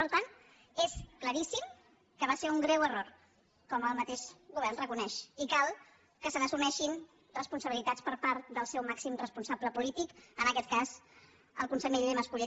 per tant és claríssim que va ser un greu error com el mateix govern reconeix i cal que se n’assumeixin responsabilitats per part del seu màxim responsable polític en aquest cas el conseller mas colell